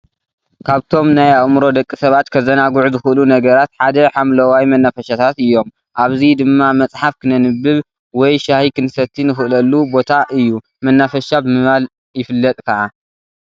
ካብቶም ናይ ኣእምሮ ደቂ ሰባት ከዘናግዑ ዝክእሉ ነገራት ሓደ ሓምለዋይ መናፈሸታት እዮም። ኣብዚ ድማ መጽሓፍ ክነንብብ ወይ ሻሂ ክንሰቲ ንክእለሉ ቦታ እዩ መናፈሻ ብምባል ይፍለጥ ክዓ።